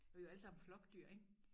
Vi jo alle sammen flokdyr ik